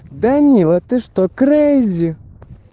данила ты что крэйзи